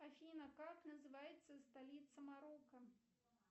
афина как называется столица марокко